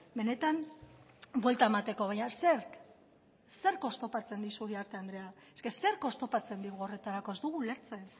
benetan buelta emateko baina zerk zerk oztopatzen dizu uriarte andrea eske zerk oztopatzen digu horretarako ez dugu ulertzen